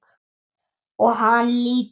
Og hann lítur upp.